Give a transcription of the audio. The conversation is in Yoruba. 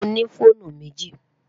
Mo ní fọ̀ònù mẹ́jì.